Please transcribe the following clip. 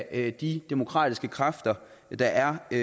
af de demokratiske kræfter der er i